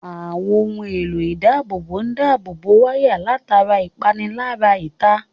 Àwọn ohun èlò ìdábòbò ń dábò wáyà látara ìpalára ìta